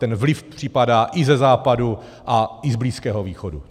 Ten vliv připadá i ze západu a i z Blízkého východu.